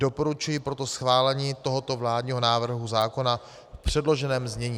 Doporučuji proto schválení tohoto vládního návrhu zákona v předloženém znění.